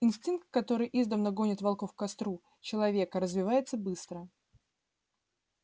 инстинкт который издавна гонит волков к костру человека развивается быстро